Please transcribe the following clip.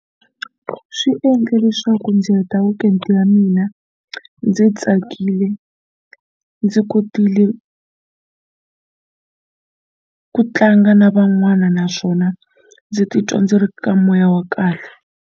Swi endle leswaku ndzi heta weekend ya mina ndzi tsakile ndzi kotile ku tlanga na van'wana naswona ndzi titwa ndzi ri ka moya wa kahle.